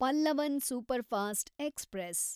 Pallavan superfast express